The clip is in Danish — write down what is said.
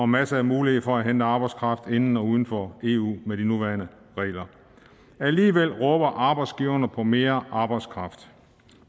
masser af mulighed for at hente arbejdskraft inden og uden for eu med de nuværende regler alligevel råber arbejdsgiverne på mere arbejdskraft